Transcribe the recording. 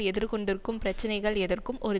எதிர்கொண்டிருக்கும் பிரச்சினைகள் எதற்கும் ஒரு